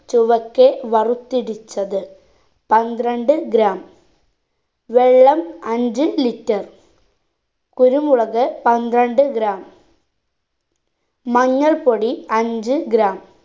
ചുവക്കെ വറുത്തിടിച്ചത് പന്ത്രണ്ട് gram വെള്ളം അഞ്ച്‌ litre കുരുമുളക് പന്ത്രണ്ട് gram മഞ്ഞൾ പൊടി അഞ്ച്‌ gram